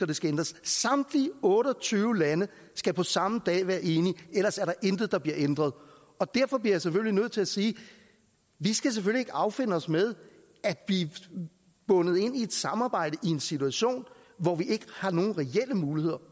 det skal ændres samtlige otte og tyve lande skal på samme dag være enige ellers er der intet der bliver ændret derfor bliver jeg nødt til at sige vi skal selvfølgelig ikke affinde os med at blive bundet ind i et samarbejde og en situation hvor vi ikke har nogen reelle muligheder